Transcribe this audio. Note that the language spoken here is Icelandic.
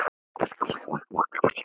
Verður ró um siðinn?